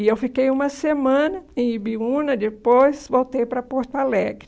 E eu fiquei uma semana em Ibiúna, depois voltei para Porto Alegre.